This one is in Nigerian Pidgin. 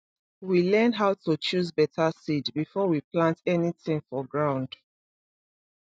we learn how to choose better seed before we plant anything for ground